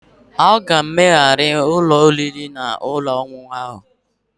A ga-emegharị ụlọ oriri na ọṅụṅụ ahụ